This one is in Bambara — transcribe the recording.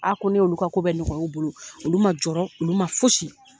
ko ne y'olu ka ko bɛɛ ɲɔgɔya u bolo olu man jɔɔrɔ olu man fosi.